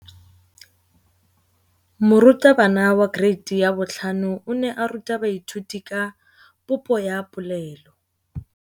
Moratabana wa kereiti ya 5 o ne a ruta baithuti ka popô ya polelô.